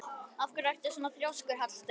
Af hverju ertu svona þrjóskur, Hallsteinn?